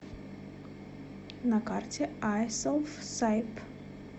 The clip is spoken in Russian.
на карте айселфсайб